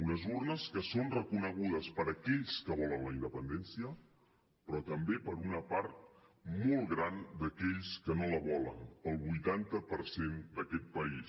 unes urnes que són reconegudes per aquells que volen la independència però també per una part molt gran d’aquells que no la volen pel vuitanta per cent d’aquest país